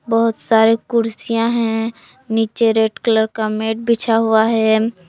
बहुत सारे कुर्सियां हैं नीचे रेड कलर का मैट बिछा हुआ है।